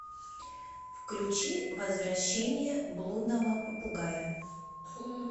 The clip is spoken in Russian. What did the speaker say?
включи возвращение блудного попугая